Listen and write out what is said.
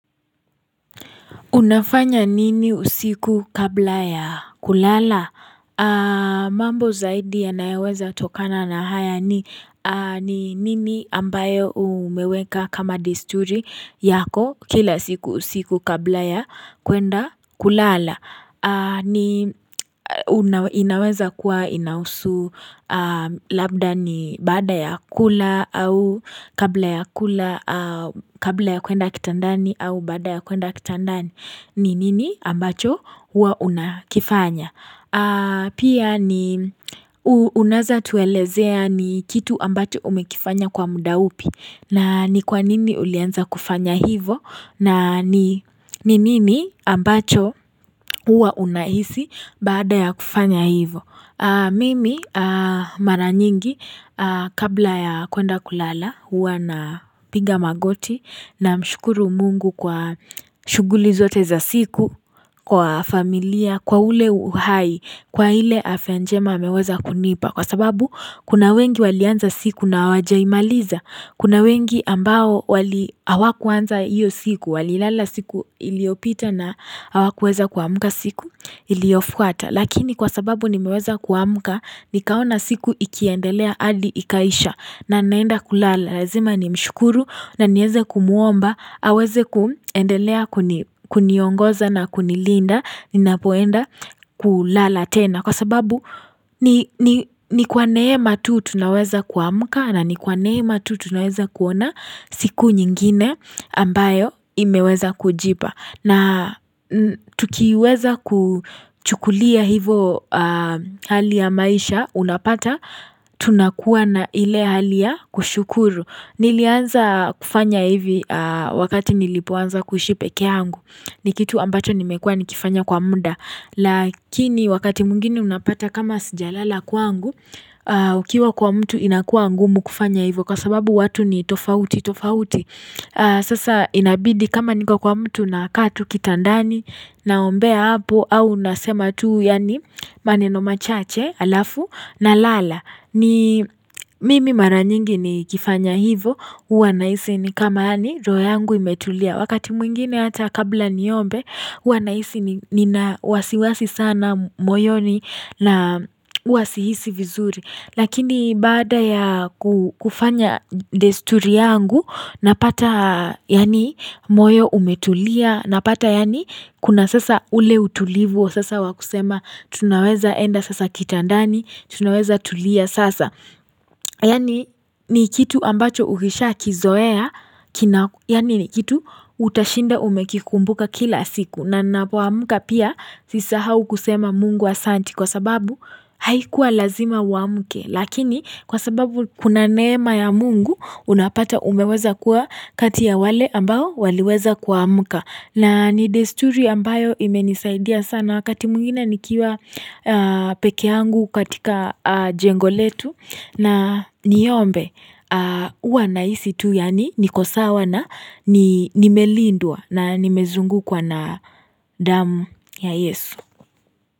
Unafanya nini usiku kabla ya kulala? Mambo zaidi yanayo weza kutokana na haya ni nini ambayo umeweka kama desturi yako kila siku usiku kabla ya kuenda kulala. Inaweza kuwa inahusu labda ni baada ya kula au kabla ya kuenda kitandani au baada ya kuenda kitandani. Ni nini ambacho huwa unakifanya Pia ni unaweza tuelezea ni kitu ambacho umekifanya kwa muda upi na ni kwa nini ulianza kufanya hivyo na ni nini ambacho huwa unahisi baada ya kufanya hivyo Mimi mara nyingi kabla ya kuenda kulala huwa napiga magoti namshukuru mungu kwa shughuli zote za siku Kwa familia, kwa ule uhai, kwa ile afya njema ameweza kunipa Kwa sababu kuna wengi walianza siku na hawajaimaliza Kuna wengi ambao wali hawakuanza hiyo siku Walilala siku iliopita na hawakuweza kuamka siku iliofuata Lakini kwa sababu nimeweza kuamka Nikaona siku ikiendelea hadi ikaisha na ninaenda kulala lazima nimshukuru na niweze kumuomba aweze kuendelea kuniongoza na kunilinda ninapoenda kulala tena Kwa sababu ni kwa neema tu tunaweza kuamuka na ni kwa neema tu tunaweza kuona siku nyingine ambayo imeweza kujipa na tukiweza kuchukulia hivyo hali ya maisha unapata, tunakuwa na ile hali ya kushukuru. Nilianza kufanya hivi wakati nilipoanza kuishi peke yangu. Ni kitu ambacho nimekuwa nikifanya kwa muda. Lakini wakati mwingine unapata kama sijalala kwangu, ukiwa kwa mtu inakuwa ngumu kufanya hivyo. Kwa sababu watu ni tofauti, tofauti. Sasa inabidi kama niko kwa mtu na kaa tu kitandani naombea hapo au nasema tu yaani maneno machache alafu na lala ni mimi mara nyingi nikifanya hivyo huwa nahisi ni kama yaani roho yangu imetulia wakati mwingine hata kabla niombe huwa nahisi nina wasiwasi sana moyoni na huwa si hisi vizuri Lakini baada ya kufanya desturi yangu napata yaani moyo umetulia napata yaani kuna sasa ule utulivu wa sasa wa kusema tunaweza enda sasa kitandani tunaweza tulia sasa. Yaani ni kitu ambacho ukishakizoea, yaani ni kitu utashinda umekikumbuka kila siku. Na ninapoamka pia si sahau kusema mungu asanti kwa sababu haikuwa lazima uamke. Lakini kwa sababu kuna neema ya mungu unapata umeweza kuwa kati ya wale ambao waliweza kuamka. Na ni desturi ambayo imenisaidia sana wakati mwingine nikiwa peke yangu katika jengo letu na niombe huwa nahisi tu yaani niko sawa na nimelindwa na nimezungukwa na damu ya yesu.